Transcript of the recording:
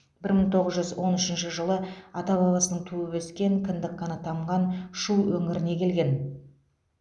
бір мың тоғыз жүз он үшінші жылы ата бабасының туып өскен кіндік қаны тамған шу өңіріне келген